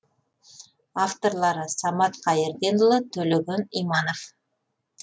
авторлары самат қайырденұлы төлеген иманов